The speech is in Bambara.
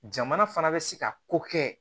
Jamana fana bɛ se ka ko kɛ